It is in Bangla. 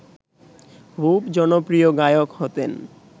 খুব জনপ্রিয় গায়ক হতেন